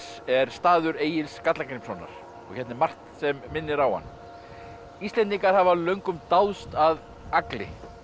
er staður Egils Skallagrímssonar og hérna er margt sem minnir á hann Íslendingar hafa löngum dáðst að Agli